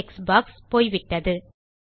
text box போய்விட்டது